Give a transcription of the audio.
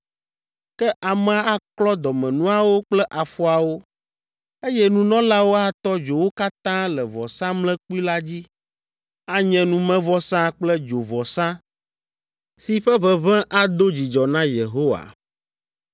Ke amea aklɔ dɔmenuawo kple afɔawo, eye nunɔlawo atɔ dzo wo katã le vɔsamlekpui la dzi. Anye numevɔsa kple dzovɔsa si ƒe ʋeʋẽ ado dzidzɔ na Yehowa.